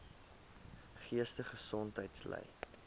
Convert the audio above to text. geestesongesteldheid ly